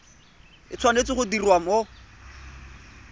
e tshwanetse go diriwa mo